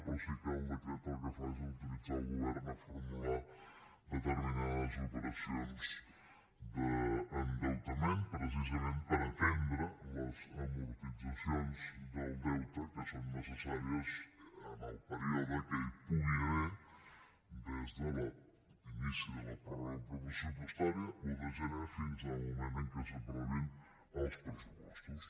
però sí que el decret el que fa és autoritzar el govern a formular determinades operacions d’endeutament precisament per atendre les amortitzacions del deute que són necessàries en el període que hi pugui haver des de l’inici de la pròrroga pressupostària un de gener fins al moment en què s’aprovin els pressupostos